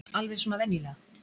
Alveg svona venjulega.